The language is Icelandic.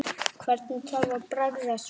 Hvernig þarf að bregðast við?